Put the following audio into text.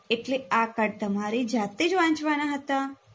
એટલે આ card તમારે જાતેજ વાંચવના હતા